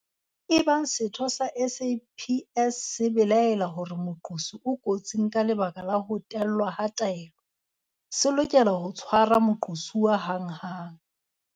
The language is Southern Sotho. Ebang setho sa SAPS se belaela hore moqosi o kotsing ka lebaka la ho tellwa ha taelo, se lokela ho tshwara moqosuwa hanghang.